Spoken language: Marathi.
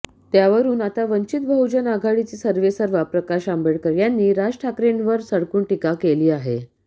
त्यावरून आता वंचित बहुजन आघाडीचे सर्वेसर्वा प्रकाश आंबेडकर यांनी राज ठाकरेंवर सडकून टीका केली आहे